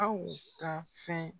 Aw ka fɛn